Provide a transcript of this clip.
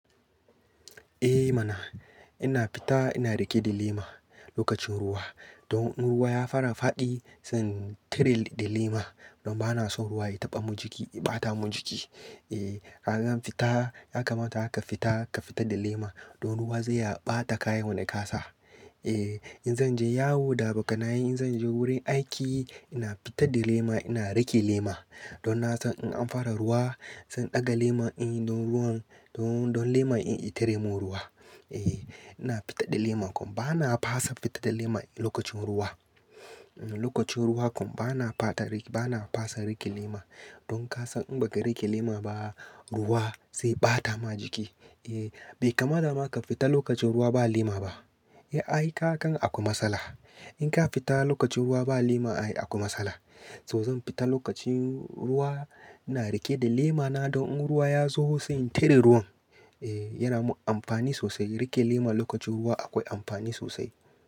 Eh mana, ina fita ina rike da lema lokacin ruwa. Don in ruwa ya fara faɗi, sai in tire da lema. Don ba na son ruwa ya taɓa jiki, ya ɓata mun jiki. Eh, ka gan fita, ya kamata ka fita, ka fita da lema. Don ruwa zai ɓata kayan da ka sa. Eh, in zan je yawo da abokanai, in zan je wurin aiki, ina fita da lema ina rike lema. Don na san in an fara ruwa, zan ɗaga lema in yi don ruwan, don, don lema in yi tire mun ruwa. Eh, ina fita da lema. Kun, ba na fasa fita da lema lokacin ruwa. Lokacin ruwa kun, ba na fata rike, ba na fasa rike lema. Don ka san in baka rike lema ba, ruwa zai ɓata ma jiki. Eh, bai kamata ma ka fita lokacin ruwa ba lema ba. Eh, ayi ka kan a ku matsala. In ka fita lokacin ruwa ba lema ayi a ku matsala. To zan fita lokacin ruwa ina rike da lema na don in ruwa ya zo sai in tire ruwan. Eh, yana mun amfani sosai. Rike lema lokacin ruwa akwai amfani sosai.